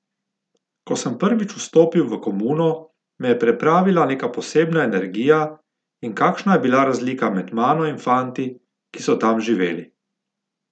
Ko sem prvič vstopil v komuno, me je preplavila neka posebna energija, in kakšna je bila razlika med mano in fanti, ki so tam živeli!